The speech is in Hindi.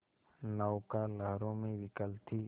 नौका लहरों में विकल थी